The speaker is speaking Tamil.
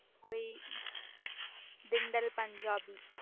போயி திண்டல் பஞ்சாபி